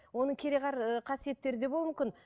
оның кереғар ыыы қасиеттері де болуы мүмкін